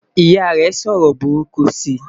ìyá rè sọ ọrọ buruku si